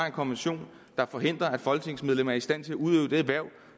en konvention der forhindrer at folketingsmedlemmer er i stand til at udøve det hverv